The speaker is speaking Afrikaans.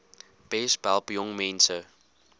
besp help jongmense